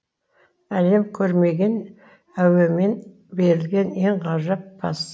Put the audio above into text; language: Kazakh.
әлем көрмеген әуемен берілген ең ғажап пас